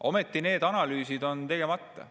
Ometi need analüüsid on tegemata.